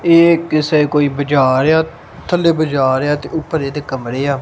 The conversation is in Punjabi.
ਇਹ ਕਿਸੇ ਕੋਈ ਬਜਾਰ ਏ ਆ ਥੱਲੇ ਬਜਾਰ ਏ ਆ ਤੇ ਉੱਪਰ ਇਹਦੇ ਕਮਰੇ ਆ।